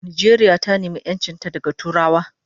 Nijeria ta nema enchinta daga turawa